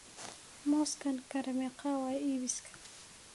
Mooskan kare meqa waye iibkisa?